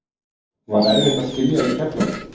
Var erfitt að skilja við Keflavík?